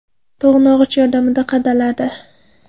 To‘g‘nog‘ich yordamida qadaladi.